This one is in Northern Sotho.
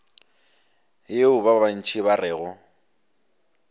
yeo ba bantši ba rego